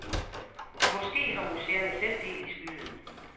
Måske har museerne selv del i skylden.